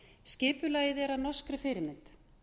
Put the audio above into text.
skipulagið er að norskri fyrirmynd